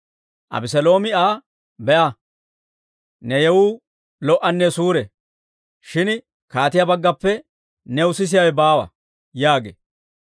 Abeseeloomi Aa, «Be'a! Ne yewuu lo"anne suure; shin kaatiyaa baggappe new sisiyaawe baawa» yaagee.